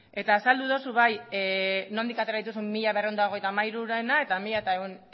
eta azaldu duzu bai nondik atera dituzun mila berrehun eta hogeita hamairurena eta mil cien